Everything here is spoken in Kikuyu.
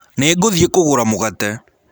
Nĩngũthĩe kũgũra mũgate.